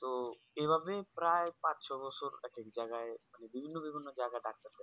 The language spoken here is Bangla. তো এভাবেই প্রায় পাঁচ ছয় বছর এক এক জাগায় মানে বিভিন্ন বিভিন্ন Doctor দেখে